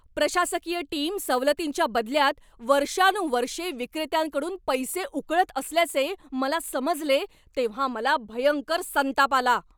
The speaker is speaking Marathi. प्रशासकीय टीम सवलतींच्या बदल्यात वर्षानुवर्षे विक्रेत्यांकडून पैसे उकळत असल्याचे मला समजले तेव्हा मला भयंकर संताप आला.